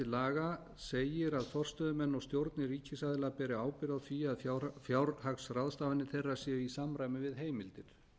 laga segir að forstöðumenn og stjórnir ríkisaðila beri ábyrgð á því að fjárhagsráðstafanir þeirra séu í samræmi við heimildir